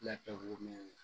Lakɛ wo mɛn